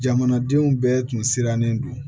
Jamanadenw bɛɛ tun sirannen do